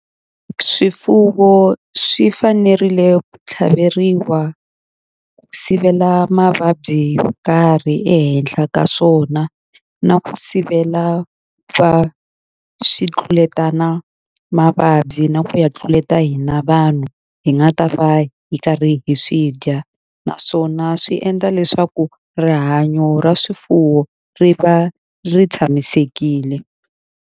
Swifuwo swi fanerile ku tlhaveriwa ku sivela mavabyi yo karhi ehenhla ka swona na ku sivela va swi tluletana mavabyi na ku ya tluleta hina vanhu hi nga ta va hi karhi hi swi dya naswona swi endla leswaku rihanyo ra swifuwo ri va ri tshamisekile.